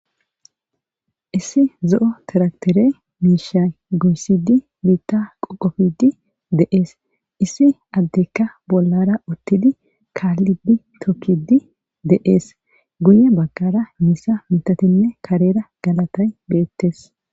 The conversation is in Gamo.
Issi zo'o tiraktere miishay goyisidi biita qoqofidi de'es issi adeka bollara uthidi kaalidi tokiidi de'es guye bagara misa mithatine karera galatay beetes.